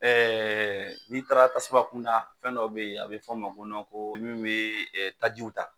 n'i taara tasuma kun da fɛn dɔw bɛ yen a bɛ fɔ o ma ko ko ni min bɛ tajiw ta.